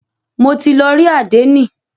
Mo ti lọ rí àdénì.